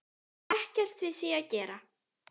Ekkert við því að gera.